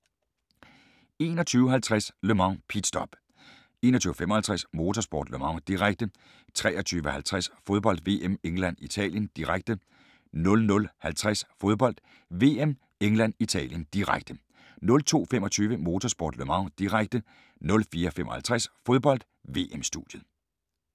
21:50: Le Mans: Pit stop 21:55: Motorsport: Le Mans, direkte 23:50: Fodbold: VM -England-Italien, direkte 00:50: Fodbold: VM -England-Italien, direkte 02:25: Motorsport: Le Mans, direkte 04:55: Fodbold: VM - studiet